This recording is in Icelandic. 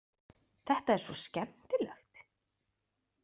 Þetta er svo skemmtilegt.